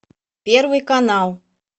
первый канал